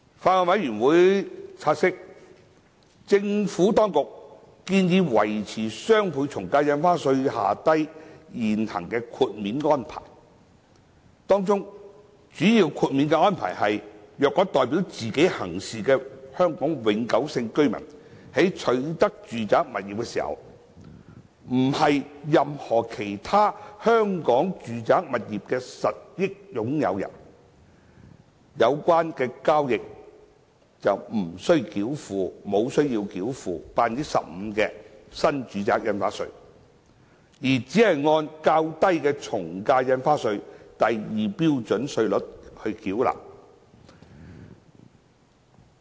法案委員會察悉，政府當局建議維持雙倍從價印花稅機制下的現行豁免安排；當中主要豁免安排為：若代表自己行事的香港永久性居民在取得住宅物業時，不是任何其他香港住宅物業的實益擁有人，有關交易不須繳付 15% 的新住宅印花稅，而只須按較低的從價印花稅第2標準稅率繳稅。